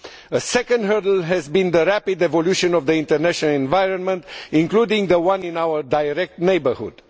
A second hurdle has been the rapid evolution of the international environment, including the one in our direct neighbourhood.